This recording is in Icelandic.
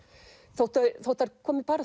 þótt þótt þær komi